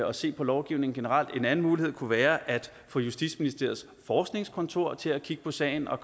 og se på lovgivningen generelt en anden mulighed kunne være at få justitsministeriets forskningskontor til at kigge på sagen og